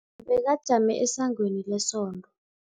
Bekajame esangweni lesonto.